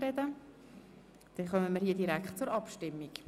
– Nein, somit kommen wir direkt zur Abstimmung.